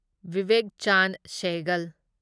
Vivek Chand Sehgal